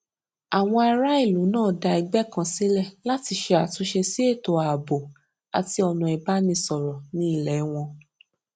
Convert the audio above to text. àwọn ará ìlú náà dá ẹgbé kan sílè láti ṣe àtúnṣe sí ètò ààbò àti ọnà ìbánisọrọ ní ilé wọn